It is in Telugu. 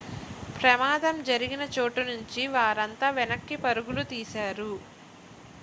ప్రమాదం జరిగిన చోటు నుంచి వారంతా వెనక్కి పరుగులు తీశారు